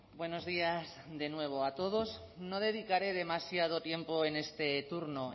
buenos días de nuevo a todos no dedicaré demasiado tiempo en este turno